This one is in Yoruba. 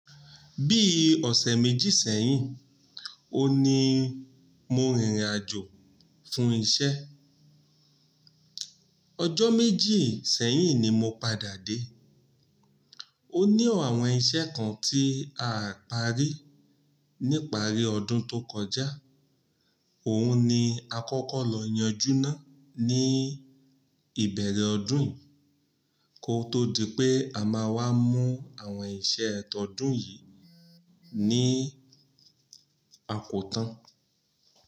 Bí ọ̀sẹ̀ méjì sẹ́yìn, òní mo rìnrìnàjò fún iṣẹ́. Ọjọ́ méjì sẹ́yìn ni mo padà dé. Ó ní ọ̀rọ̀ àwọn iṣẹ́ kan tí a parí nípa àrí ọdún tó kọjá, òun ni a kọ́kọ́ lọ yanjú náà ní ìbẹ̀rẹ̀ ọdún yìí kó tó di pé a máa wá mú àwọn iṣẹ́ ọ̀tọ̀ọ̀dún yìí ní àpótan.